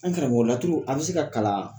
An karamɔgɔ laturu a bɛ se ka kalan?